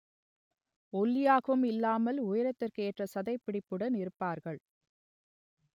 ஒல்லியாகவும் இல்லாமல் உயரத்திற்கு ஏற்ற சதைப்பிடிப்புடன் இருப்பார்கள்